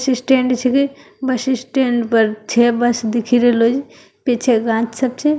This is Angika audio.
बस स्टैंड छै बस स्टैंड पर छे बस दिख रहलो छै पीछे गाछ छै।